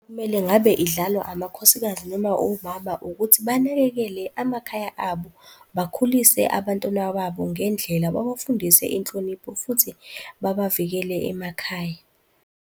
Kumele ngabe idlalwa amakhosikazi noma omama ukuthi banakekele amakhaya abo, bakhulise abantwana babo ngendlela, babafundise inhlonipho futhi babavikele emakhaya.